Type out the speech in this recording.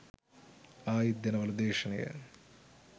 ආයිත් දෙනවලු දේශනය